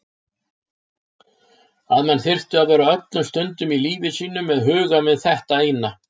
Að menn þyrftu að vera öllum stundum í lífi sínu með hugann við þetta eina.